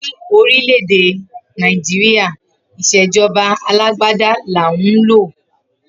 Ni orile-ede Naijiria ìṣejọba àlàgbàdà làhún lo.